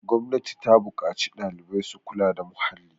gwamnati ta buƙaci ɗalibai su kula da muhalli